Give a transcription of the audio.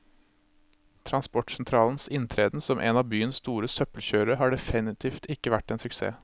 Transportsentralens inntreden som en av byens store søppelkjørere har definitivt ikke vært en suksess.